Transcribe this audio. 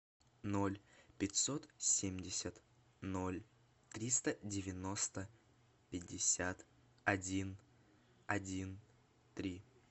ноль пятьсот семьдесят ноль триста девяносто пятьдесят один один три